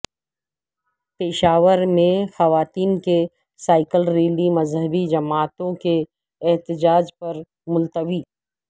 پشاور میں خواتین کی سائیکل ریلی مذہبی جماعتوں کے احتجاج پر ملتوی